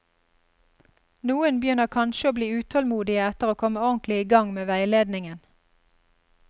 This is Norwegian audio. Noen begynner kanskje å bli utålmodige etter å komme ordentlig i gang med veiledningen.